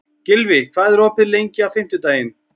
Gylfi, hvað er opið lengi á fimmtudaginn?